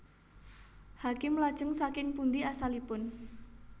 Hakim Lajeng saking pundi asalipun